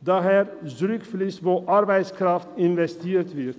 dahin zurückfliesst, wo Arbeitskraft investiert wird.